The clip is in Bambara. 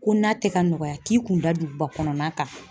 Ko na tɛ ka nɔgɔya k'i kun da duguba kɔnɔna kan.